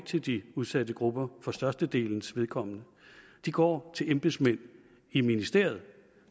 til de udsatte grupper for størstedelens vedkommende de går til embedsmænd i ministeriet